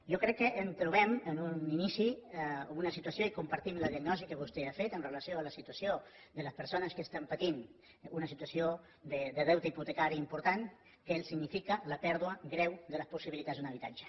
jo crec que ens trobem en un inici amb una situació i compartim la diagnosi que vostè ha fet amb relació a la situació de les persones que estan patint una situació de deute hipotecari important que significa la pèrdua greu de les possibilitats d’un habitatge